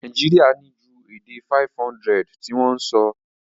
Naijiria ni ju èdè 500 ti won so